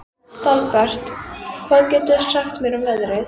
Dalbert, hvað geturðu sagt mér um veðrið?